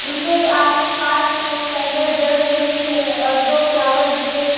उनके आसपास में कैंडल जल रही है और दो फ्लावर बुके --